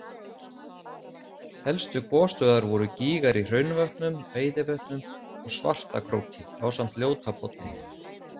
Helstu gosstöðvar voru gígar í Hraunvötnum, Veiðivötnum, og Svartakróki ásamt Ljótapolli.